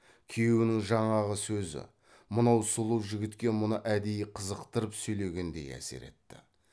күйеуінің жаңағы сөзі мынау сұлу жігітке мұны әдейі қызықтырып сөйлегендей әсер етті